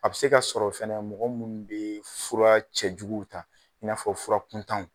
A bɛ se ka sɔrɔ fɛnɛ mɔgɔ minnu bɛ fura cɛjuguw ta i n'a fɔ fura kun